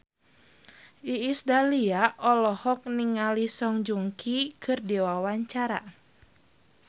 Iis Dahlia olohok ningali Song Joong Ki keur diwawancara